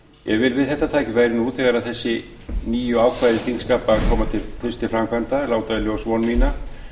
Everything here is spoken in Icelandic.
ég vil við þetta tækifæri nú þegar þessi nýju ákvæði þingskapa koma fyrst til framkvæmda láta í ljós von mína